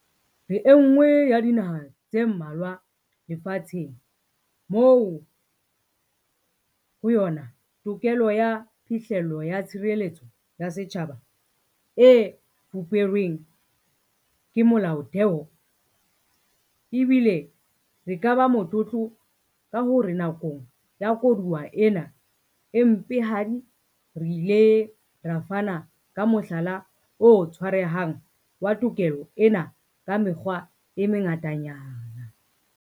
Re enngwe ya dinaha tse mmalwa lefa tsheng moo ho yona tokelo ya phihlello ya tshireletso ya setjhaba e fuperweng ke Molaotheo, ebile re ka ba motlotlo ka hore nakong ya koduwa ena e mpehadi re ile ra fana ka mohlala o tshwarehang wa tokelo ena ka mekgwa e mengatanyana.